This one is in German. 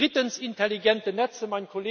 Drittens intelligente Netze.